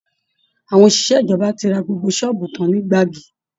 Àwọn òṣìṣẹ́ ìjọba ti ra gbogbo ṣọ́ọ̀bù tán ní Gbági